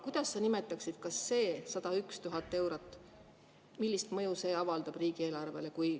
Kuidas sa nimetaksid, millist mõju see 101 000 eurot avaldab riigieelarvele?